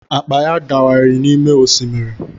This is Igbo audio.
Akpa ya dawiri n’ime osimiri